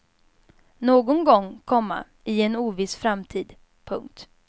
Någon gång, komma i en oviss framtid. punkt